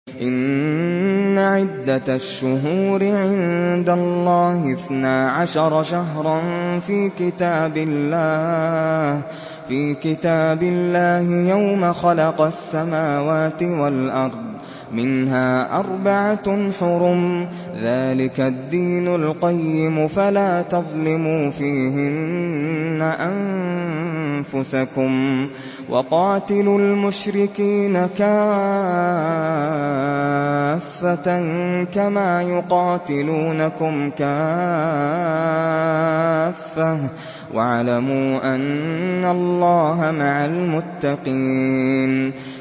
إِنَّ عِدَّةَ الشُّهُورِ عِندَ اللَّهِ اثْنَا عَشَرَ شَهْرًا فِي كِتَابِ اللَّهِ يَوْمَ خَلَقَ السَّمَاوَاتِ وَالْأَرْضَ مِنْهَا أَرْبَعَةٌ حُرُمٌ ۚ ذَٰلِكَ الدِّينُ الْقَيِّمُ ۚ فَلَا تَظْلِمُوا فِيهِنَّ أَنفُسَكُمْ ۚ وَقَاتِلُوا الْمُشْرِكِينَ كَافَّةً كَمَا يُقَاتِلُونَكُمْ كَافَّةً ۚ وَاعْلَمُوا أَنَّ اللَّهَ مَعَ الْمُتَّقِينَ